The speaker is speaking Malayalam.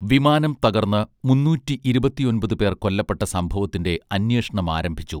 വിമാനം തകർന്ന് മൂന്നൂറ്റി ഇരുപത്തിയൊൻപത് പേർ കൊല്ലപ്പെട്ട സംഭവത്തിന്റെ അന്വേഷണമാരംഭിച്ചു